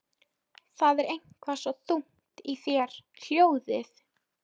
Það er eitthvað svo þungt í þér hljóðið.